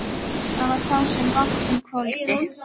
Það var þá sem bátnum hvolfdi.